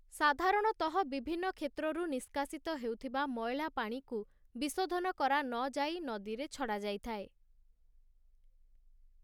ସାଧାରଣତଃ ବିଭିନ୍ନ କ୍ଷେତ୍ରରୁ ନିଷ୍କାସିତ ହେଉଥିବା ମଇଳା ପାଣିକୁ ବିଶୋଧନ କରାନଯାଇ ନଦୀରେ ଛଡ଼ାଯାଇଥାଏ ।